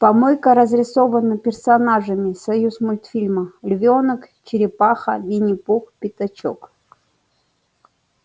помойка разрисована персонажами союзмультфильма львёнок черепаха виннипух пятачок